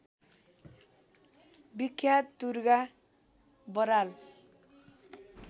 बिख्यात Durga Baral